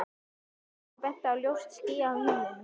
sagði hann og benti á ljóst ský á himninum.